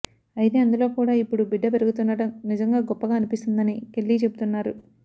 అయితే అందులో కూడా ఇప్పుడు బిడ్డ పెరుగుతుండటం నిజంగా గొప్పగా అనిపిస్తోందని కెల్లీ చెబుతున్నారు